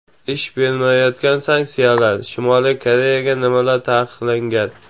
Ish bermayotgan sanksiyalar: Shimoliy Koreyaga nimalar taqiqlangan?.